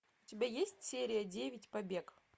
у тебя есть серия девять побег